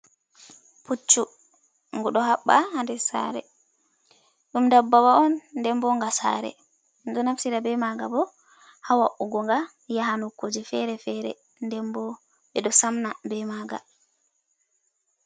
Pucchu, nguɗo haɓɓa ha nɗe saare, ɗum daɓɓawa on nɗen ɓo nga saare, ɗo naftira ɓe maga bo hawa’ugo nga yaha nokkuje fere- fere nɗen bo ɓeɗo Sam na ɓe maga.